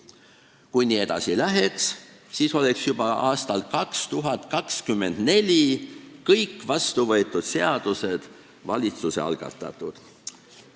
Kui nii edasi läheks, siis oleks juba aastal 2024 kõik vastuvõetud seadused valitsuse algatatud.